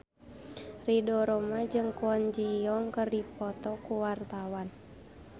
Ridho Roma jeung Kwon Ji Yong keur dipoto ku wartawan